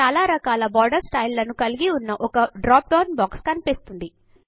చాలా రకాల border style లను కలిగి ఉన్న ఒక డ్రాప్ డౌన్ బాక్స్ కనిపిస్తుంది